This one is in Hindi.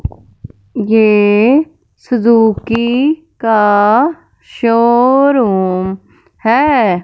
ये सुजुकी का शोरुम है।